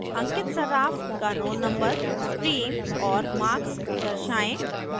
अंकित सर्राफ का roll number stream और marks दर्शाएं